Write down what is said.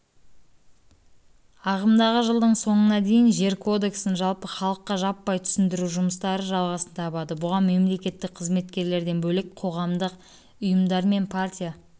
ағымдағы жылдың соңына дейін жер кодексін жалпы халыққа жаппай түсіндіру жұмыстары жалғасын табады бұған мемлекеттік қызметкерлерден бөлек қоғамдық ұйымдар мен партия